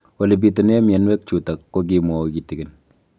Ole pitune mionwek chutok ko kimwau kitig'�n